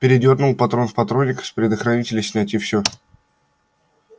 передёрнул патрон в патронник с предохранителя снять и все